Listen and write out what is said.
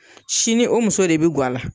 Sini o muso de bi ŋa la